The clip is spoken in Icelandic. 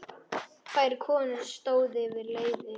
Tvær konur stóðu yfir leiði.